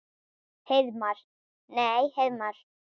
Heiðmar. nei Heiðmar?